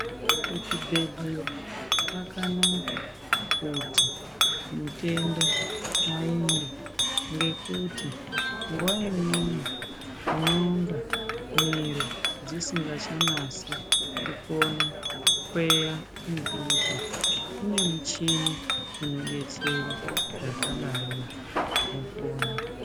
Kuchibhedhlera kwakanaka kuti mutenda aende ngekuti nguwa imweni unonga miro dzisingachanasi kukona mututu kune muchini unodetsera zvakadarozvo wopona.